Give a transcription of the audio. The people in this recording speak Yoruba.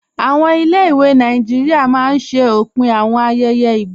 Awọn ilẹ̀-ìwé Nàìjíríà máa n ṣẹ̀ òpin awọn ayẹyẹ igba.